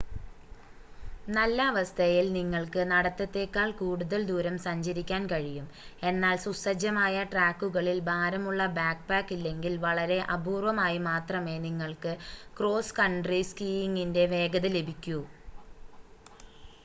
നല്ല അവസ്ഥയിൽ നിങ്ങൾക്ക് നടത്തത്തേക്കാൾ കൂടുതൽ ദൂരം സഞ്ചരിക്കാൻ കഴിയും എന്നാൽ സുസജ്ജമായ ട്രാക്കുകളിൽ ഭാരമുള്ള ബാക്ക്പാക്ക് ഇല്ലെങ്കിൽ വളരെ അപൂർവമായി മാത്രമേ നിങ്ങൾക്ക് ക്രോസ് കൺട്രി സ്കീയിംഗിൻ്റെ വേഗത ലഭിക്കൂ